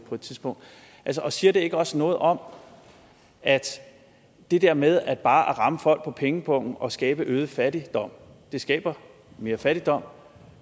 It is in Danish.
tidspunkt og siger det ikke også noget om at det der med bare at ramme folk på pengepungen og skabe øget fattigdom skaber mere fattigdom